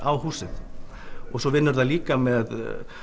á húsið svo vinnur það líka með